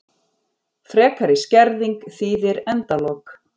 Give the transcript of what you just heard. Frekari skerðing þýðir endalok